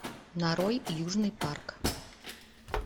нарой южный парк